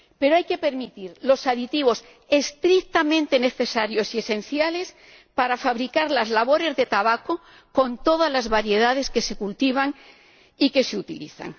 Pero hay que permitir los aditivos estrictamente necesarios y esenciales para fabricar las labores de tabaco, con todas las variedades que se cultivan y que se utilizan.